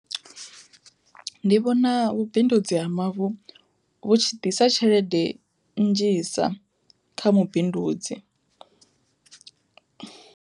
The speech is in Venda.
Ndi vhona vhubindudzi ha mavu vhutshi ḓisa tshelede nnzhisa kha mubindudzi.